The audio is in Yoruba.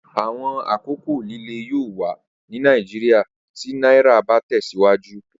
Awọn akoko lile yoo wa ni Naijiria ti naira ba tẹsiwaju